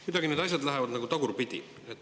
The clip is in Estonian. Kuidagi need asjad lähevad nagu tagurpidi.